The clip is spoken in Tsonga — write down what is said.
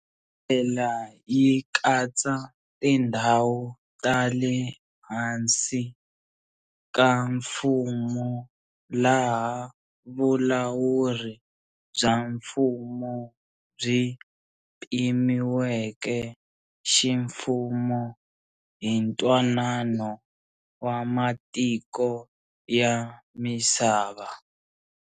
Yi tlhela yi katsa tindhawu ta le hansi ka mfumo laha vulawuri bya mfumo byi pimiweke ximfumo hi ntwanano wa matiko ya misava.